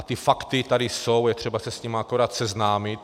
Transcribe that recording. A ta fakta tady jsou, je třeba se s nimi akorát seznámit.